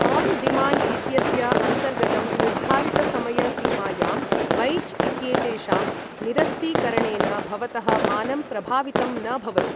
One demand इत्यस्य अन्तर्गतं निर्धारित समय सीमायां बैच् इत्येतेषां निरस्तीकरणेन भवतः मानं प्रभावितं न भवति।